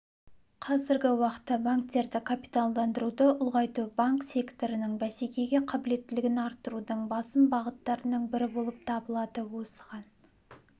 қазіргі уақытта банктерді капиталдандыруды ұлғайту банк секторының бәсекеге қабілеттілігін арттырудың басым бағыттарының бірі болып табылады осыған